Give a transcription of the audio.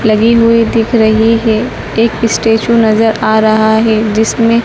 लगी हुई दिख रहीं हैं एक स्टैचू नजर आ रहा हैं जिसमें--